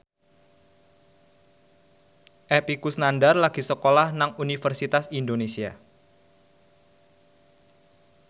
Epy Kusnandar lagi sekolah nang Universitas Indonesia